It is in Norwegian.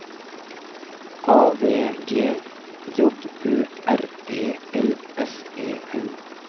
A V G J Ø R E L S E N